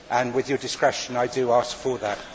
With your discretion, I do ask for that.